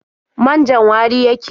Man-jan wari yake.